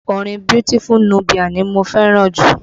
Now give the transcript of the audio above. Orin Beautiful Nubia ni mo fẹ́ràn jù